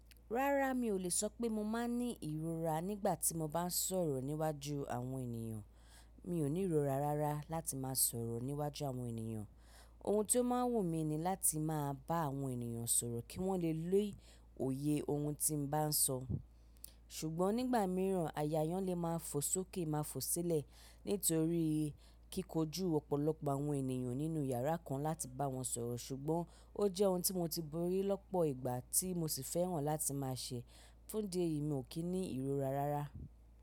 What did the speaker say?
Rárá mi ò lè sọ pé mo máa ń ní ìrora nígbà tí mo bá ń sọ̀rọ̀ níwájú àwọn ènìyàn. Mi ò ní ìrora rárá láti máa sọ̀rọ̀ níwájú àwọn ènìyàn. Ohun tí ó máa ń wù mí ni láti máa bá àwọn ènìyàn sọ̀rọ̀ kí wọ́n lè lé òye ohun tí mo bá ń sọ. Ṣùgbọ́n nígbà mìíràn àyà yàn lé máa ń fò sókè máa ń fò sílẹ̀ nítorí kíkojú ọ̀pọ̀lọpọ̀ àwọn ènìyàn nínú yàrá kan láti bá wọn sọ̀rọ̀. Ṣùgbọ́n ó jẹ́ ohun tí mo ti borí lọ́pọ̀ ìgbà tí mo sì fẹ́ràn láti máa ṣẹ. Fún dé yìí mi ò kí ní ìrora rárá.